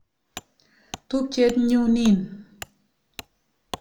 Tupchet nyu nin.